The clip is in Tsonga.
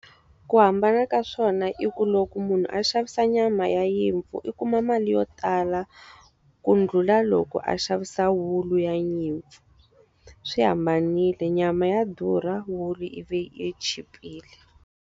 Ku hambana ka swona i ku loko munhu a xavisa nyama ya nyimpfu i kuma mali yo tala, ku ndlhula loko a xavisa wulu ya nyimpfu. Swi hambanile nyama ya durha, wulu yi chipile.